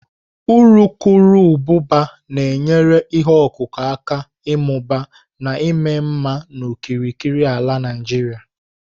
urukurubụba na-enyere ihe ọkụkụ aka ịmụba na ịma mma n'okirikiri ala Naijiria.